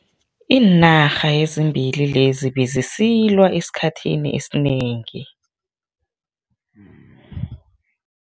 Iinarha ezimbili lezi bezisilwa esikhathini esinengi.